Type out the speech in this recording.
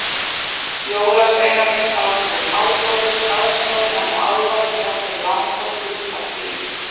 Jólasveinarnir sátu við háborðið, aðstoðarmenn og álfar við nokkur langborð út frá því.